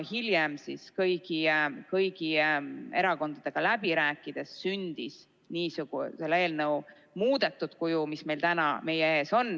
Hiljem kõigi erakondadega läbi rääkides sündis selle eelnõu muudetud kuju, mis on täna meie ees.